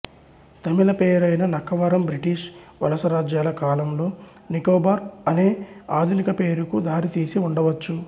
తమిళ పేరైన నక్కవరం బ్రిటిష్ వలసరాజ్యాల కాలంలో నికోబార్ అనే ఆధునిక పేరుకు దారితీసి ఉండవచ్చు